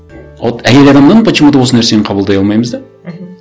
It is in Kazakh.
а вот әйел адамнан почему то осы нәрсені қабылдай алмаймыз да мхм